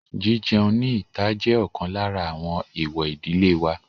Jí-jẹun ní ìta jẹ́ ọ̀kan lára àwọn èwọ̀ ìdílé wa.